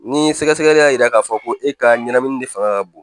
Ni sɛgɛsɛgɛli y'a yira k'a fɔ ko e ka ɲɛnamini de fanga ka bon